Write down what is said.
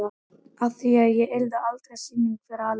Að í því yrði aldrei sýning fyrir aðra.